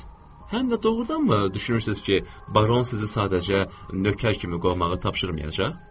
Həm də doğrudanmı düşünürsünüz ki, baron sizi sadəcə nökər kimi qovmağı tapşırmayacaq?